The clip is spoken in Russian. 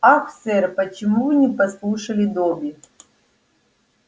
ах сэр почему вы не послушали добби